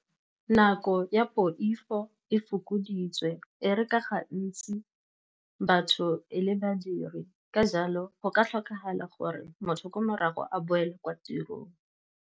Nako ya poifo e fokoditswe, e re ka gantsi batho e le badiri. Ka jalo go ka tlhokagala gore motho ko morago a boela kwa tirong.